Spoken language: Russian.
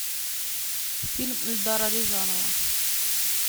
фильм эльдара рязанова